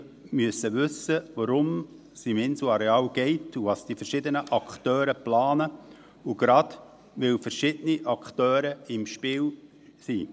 Wir müssen wissen, worum es auf dem Inselareal geht und was die verschiedenen Akteure planen – gerade, weil verschiedene Akteure im Spiel sind.